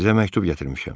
Sizə məktub gətirmişəm.